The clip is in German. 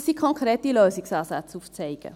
dass sie konkrete Lösungsansätze aufzeigen.